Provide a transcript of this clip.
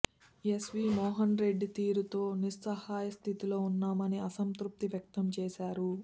SV Mohan Reddy తీరుతో నిస్సహాయ స్థితిలో ఉన్నామని అసంతృప్తి వ్యక్తం చేశారు